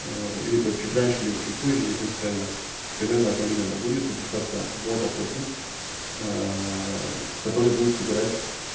либо чуть раньше либо чуть позже не принципиально примерно одновременно будет выпускаться бот опросник который будет собирать